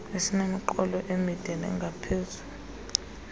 esinemiqolo emide nengaphezulu